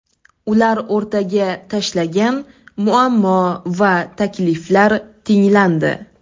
Ular o‘rtaga tashlagan muammo va takliflar tinglandi.